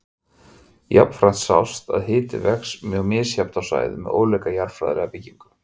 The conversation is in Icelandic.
Jafnframt sást að hiti vex mjög mishratt á svæðum með ólíka jarðfræðilega byggingu.